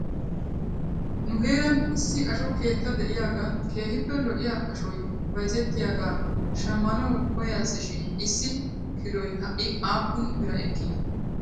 Nu heeran issi asho keetta de'iyaagan keehippe lo'iyaa ashoy bayzettiyaagaa shamanaw koyas shin issi kiloy ha'i aappun biraa ekkii ?